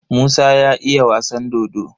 Musa ya iya wasan dodo?